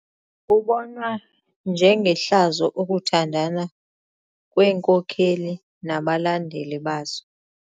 Kubonwa njengehlazo ukuthandana kweenkokeli nabalandeli bazo.